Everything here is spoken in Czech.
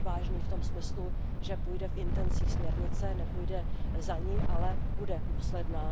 Odvážný v tom smyslu, že půjde v intencích směrnice, nepůjde za ni, ale bude důsledný.